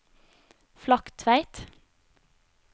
Flaktveit